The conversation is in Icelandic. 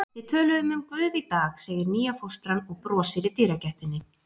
Við töluðum um Guð í dag, segir nýja fóstran og brosir í dyragættinni.